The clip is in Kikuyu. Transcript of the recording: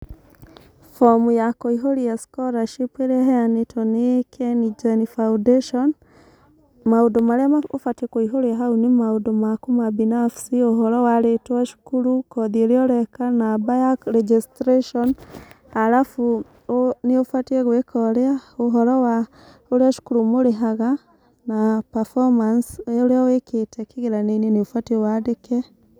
Bomu ya kũihũria scholarship ĩrĩa ĩheanĩtwo nĩ kengen foundation, maũndũ marĩa ma ũbatie nĩkũihũria nĩ maũndũ maku ma binafsi ũhoro wa rĩtwa, cũkuru, kothi ĩrĩa ũreka, namba ya registration arabu ũ nĩũbatiĩ gwĩka ũrĩa ũhoro wa ũrĩa cukuru mũrĩhaga na performance ya ũrĩa ũĩkĩte kĩgeranio−inĩ nĩũbatiĩ wandĩke.